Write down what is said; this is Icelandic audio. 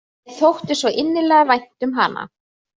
Mér þótti svo innilega vænt um hana.